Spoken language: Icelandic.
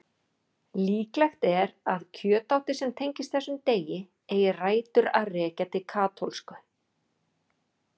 Líklegt er að kjötátið sem tengist þessum degi eigi rætur að rekja til katólsku.